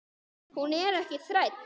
Hún er ekki þræll.